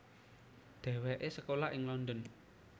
Dhéwéké sekolah ing London